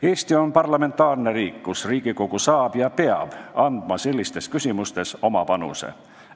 Eesti on parlamentaarne riik, kus Riigikogu saab anda ja peab andma sellistes küsimustes oma panuse.